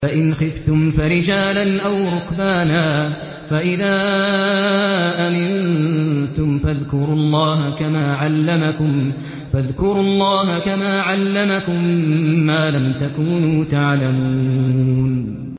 فَإِنْ خِفْتُمْ فَرِجَالًا أَوْ رُكْبَانًا ۖ فَإِذَا أَمِنتُمْ فَاذْكُرُوا اللَّهَ كَمَا عَلَّمَكُم مَّا لَمْ تَكُونُوا تَعْلَمُونَ